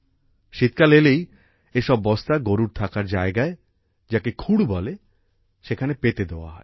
শীতকাল এলেই এসব বস্তা গরুর থাকার জায়গায়় যাকে খুড় বলে সেখানে পেতে দেওয়া হয়